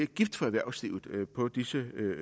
gift for erhvervslivet på disse øer